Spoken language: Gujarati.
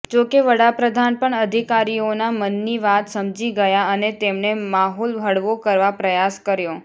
જોકે વડાપ્રધાન પણ અધિકારીઓના મનની વાત સમજી ગયા અને તેમણે માહોલ હળવો કરવા પ્રયાસ કર્યો